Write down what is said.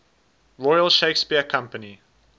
royal shakespeare company